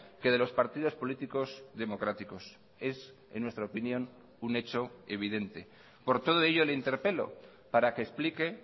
que de los partidos políticos democráticos es en nuestra opinión un hecho evidente por todo ello le interpelo para que explique